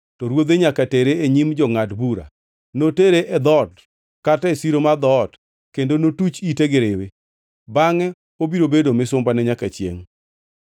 to ruodhe nyaka tere e nyim jongʼad bura. Notere e dhoot kata e siro mar dhoot kendo notuch ite gi riwi. Bangʼe obiro bedo misumbane nyaka chiengʼ.